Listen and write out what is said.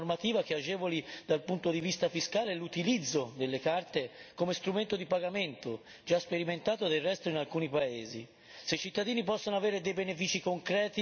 Una soluzione intelligente potrebbe essere, ad esempio, una normativa che agevoli dal punto di vista fiscale l'utilizzo delle carte come strumento di pagamento, già sperimentato del resto in alcuni paesi.